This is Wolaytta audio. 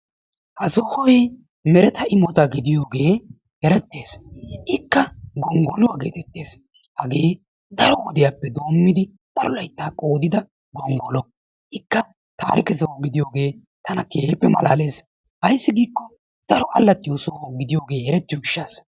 ha sohooy meretta imota gidiyoogee erettees. ikka gongolluwaa gettettees. hageee daro wodiyaappe doommidi daro layttaa qooddida gongollo. ikka tarikke soho gidiyooge tana keehippe malaalees. ayssi gikko daro alaxxiyoo soho gidiyoogee eretiyoo giishasa.